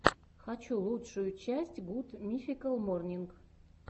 хочу лучшую часть гуд мификал морнинг